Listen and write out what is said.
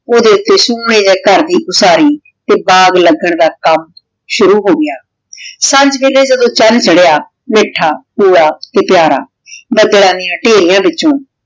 ਓਦੇ ਗਹਰ ਦੀ ਸਾਰੀ ਤੇ ਬਾਘ ਲਗਨ ਦਾ ਕਾਮ ਸ਼ੁਰੂ ਹੋਗਯਾ ਸਾਂਝ ਵੀਲਾਯ ਜਦੋਂ ਚਾਨ ਚਾਰ੍ਹ੍ਯਾ ਮੀਠਾ ਸੋਹਨਾ ਤੇ ਪ੍ਯਾਰ ਬਾਦਲਾਂ ਡਿਯਨ ਧੇਰਿਯਾਂ ਵਿਚੋਂ